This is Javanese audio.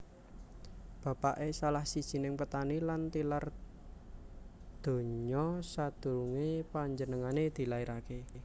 Bapaké salah sijining petani lan tilar donya sadurungé penjenengané dilairaké